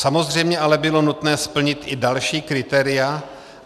Samozřejmě ale bylo nutné splnit i další kritéria.